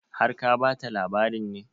Har ka ba ta labarin ne?